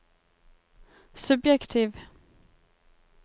subjektiv